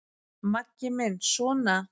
Maggi minn sona!